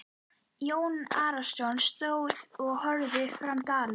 Jón Arason stóð og horfði fram dalinn.